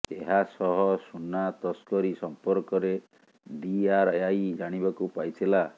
ଏହା ସହ ସୁନା ତସ୍କରୀ ସମ୍ପର୍କରେ ଡିଆରଆଇ ଜାଣିବାକୁ ପାଇଥିଲା